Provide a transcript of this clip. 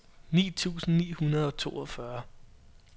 ni tusind ni hundrede og toogfyrre